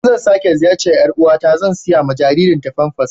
In zan sake ziyarce yar'uwa na zan sayi ma jaririn ta pampers